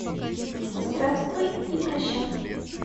здравствуй и прощай